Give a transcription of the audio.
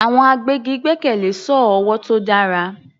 Àwọn agbẹ́gi gbẹ́kẹ̀lé sọ́ọ̀ ọwọ́ tó dára.